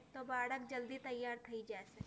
તો બાળક જલ્દી તૈયાર થઈ જાશે.